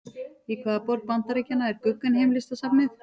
Í hvaða borg Bandaríkjanna er Guggenheim-listasafnið?